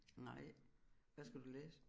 Nej hvad skal du læse